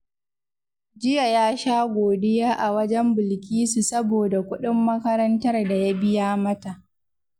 Jiya ya sha godiya a wajen Bilkisu saboda kuɗin makarantar da ya biya mata